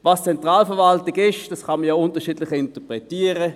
Was die Zentralverwaltung ist, kann man ja unterschiedlich interpretieren.